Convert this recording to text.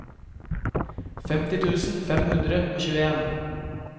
femti tusen fem hundre og tjueen